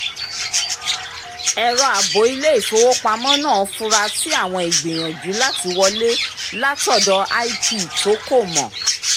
ẹ̀rọ àbò ilé-ìfowópamọ́ náà fura sí àwọn ìgbìyànjú láti wọlé látọ̀dọ̀ ip tó kò mọ̀